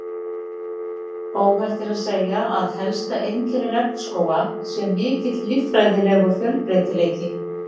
Óhætt er að segja að helsta einkenni regnskóga sé mikill líffræðilegur fjölbreytileiki.